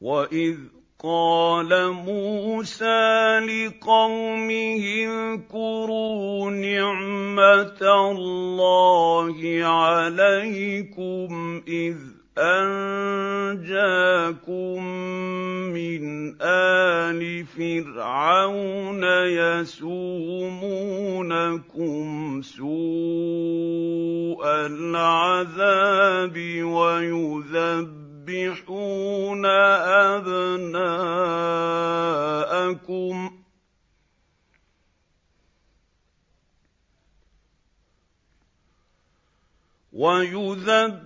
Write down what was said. وَإِذْ قَالَ مُوسَىٰ لِقَوْمِهِ اذْكُرُوا نِعْمَةَ اللَّهِ عَلَيْكُمْ إِذْ أَنجَاكُم مِّنْ آلِ فِرْعَوْنَ يَسُومُونَكُمْ سُوءَ الْعَذَابِ وَيُذَبِّحُونَ